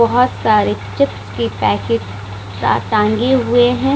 बहुत सारे चिप्स के पैकेट स टाँगे हुए हैं ।